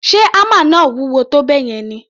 Ṣe hámà náà wúwo tó bẹ́ẹ̀ yẹn ni?